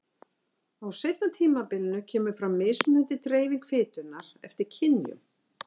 Á seinna tímabilinu kemur fram mismunandi dreifing fitunnar eftir kynjum.